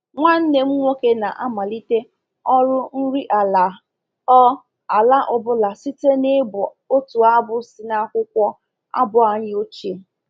Nwanne m nwoke na-amalite ọrụ nri ala ọ ala ọ bụla site n’ịbụ otu abụ si n’akwụkwọ abụ anyị ochie.